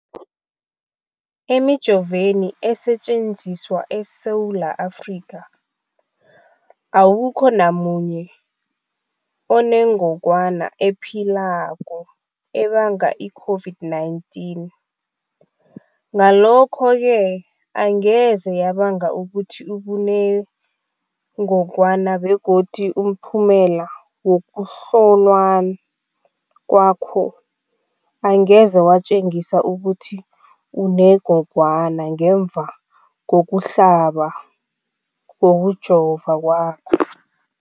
Emijoveni esetjenziswa eSewula Afrika, awukho namunye onengogwana ephilako ebanga i-COVID-19 . Ngalokho-ke angeze yabanga ukuthi ubenengogwana begodu umphumela wokuhlolwa kwakho angeze watjengisa ukuthi unengogwana ngemva kokuhlaba, kokujova kwakho.